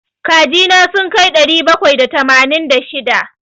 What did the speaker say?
Kaji na sun kai ɗari bakwai da tamanin da shida.